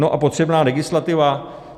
No, a potřebná legislativa?